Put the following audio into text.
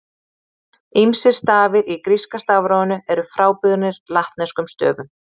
Ýmsir stafir í gríska stafrófinu eru frábrugðnir latneskum stöfum.